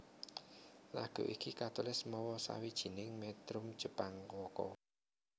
Lagu iki katulis mawa sawijining metrum Jepang waka